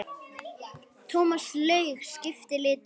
Thomas Lang skipti litum.